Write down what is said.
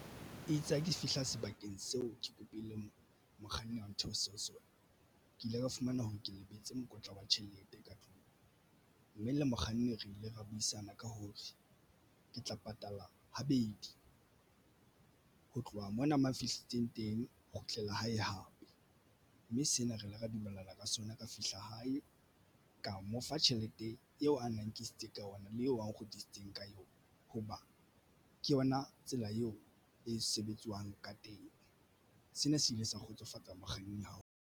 Itse ha ke fihla sebakeng seo ke kopile mokganni wa ntheose ho sona ke ile ka fumana hore ke lebetse mokotla wa tjhelete ka tlung mme le mokganni re ile ra buisana ka hore ke tla patala habedi ho tloha mona mang fihletseng teng ho kgutlela hae hape, mme sena re ile ra dumellana ka sona ka fihla hae. Ka mo fa tjhelete eo a na nkisitse ka yona le eo nkgutlitseng ka yona hoba ke yona tsela eo e sebetswang ka teng. Sena se ile sa kgotsofatsa mokganni ha ona.